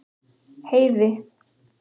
Heiði